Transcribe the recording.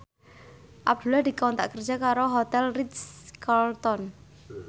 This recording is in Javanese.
Abdullah dikontrak kerja karo Hotel Ritz Carlton